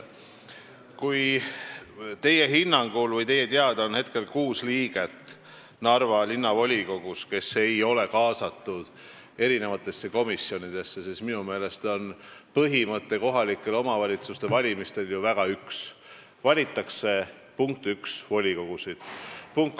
Kui teie hinnangul või teie teada on Narva linnavolikogus hetkel kuus liiget, kes ei ole kaasatud komisjonidesse, siis minu meelest on kohalike omavalitsuste valimistel üks kindel põhimõte: volikogusid valitakse.